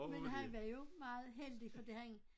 Men han var jo meget heldig fordi han